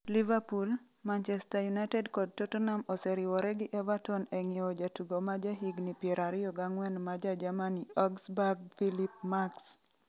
Liverpool, Manchester United kod Tottenham oseriwore gi Everton e ng'iewo jatugo ma jahigni 24 ma ja Germany Augsburg Philipp Max.